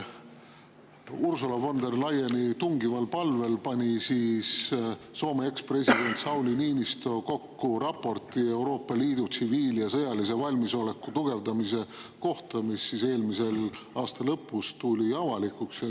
Ursula von der Leyeni tungival palvel pani Soome ekspresident Sauli Niinistö kokku raporti Euroopa Liidu tsiviil- ja sõjalise valmisoleku tugevdamise kohta, mis eelmise aasta lõpus sai avalikuks.